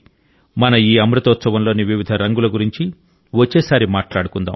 మన ఈ అమృతోత్సవంలోని వివిధ రంగుల గురించి వచ్చేసారి మాట్లాడుకుందాం